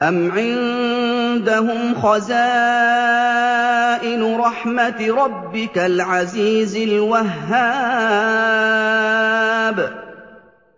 أَمْ عِندَهُمْ خَزَائِنُ رَحْمَةِ رَبِّكَ الْعَزِيزِ الْوَهَّابِ